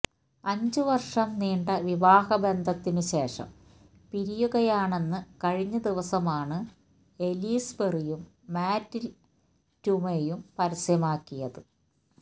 അഞ്ചു വർഷം നീണ്ട വിവാഹബന്ധത്തിനു ശേഷം പിരിയുകയാണെന്ന് കഴിഞ്ഞ ദിവസമാണ് എലിസ് പെറിയും മാറ്റ് ടൂമ്വയും പരസ്യമാക്കിയാത്